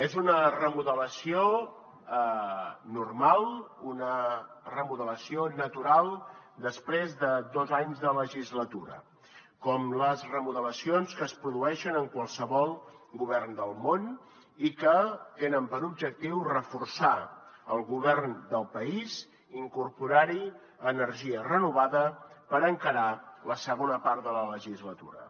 és una remodelació normal una remodelació natural després de dos anys de legislatura com les remodelacions que es produeixen en qualsevol govern del món i que tenen per objectiu reforçar el govern del país i incorporar hi energia renovada per encarar la segona part de la legislatura